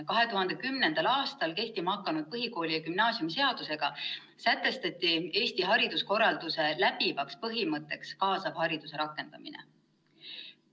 2010. aastal kehtima hakanud põhikooli- ja gümnaasiumiseadusega sätestati Eesti hariduskorralduse läbivaks põhimõtteks kaasava hariduse rakendamine.